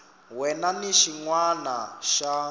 wana ni xin wana xa